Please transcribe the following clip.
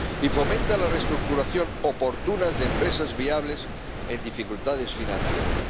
Y fomenta la restructuración oportuna de empresas viables en dificultades financieras.